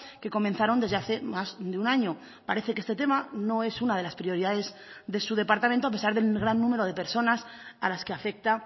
que comenzaron desde hace más de un año parece que este tema no es una de las prioridades de su departamento a pesar del gran número de personas a las que afecta